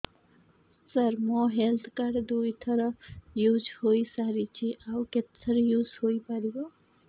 ସାର ମୋ health card ଦୁଇ ଥର ୟୁଜ଼ ହୈ ସାରିଛି ଆଉ କେତେ ଥର ୟୁଜ଼ ହୈ ପାରିବ